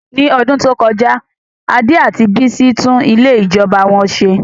Ní ọdún tó kọjá, Ade àti Bisi tún ilé ìjọba wọn ṣe.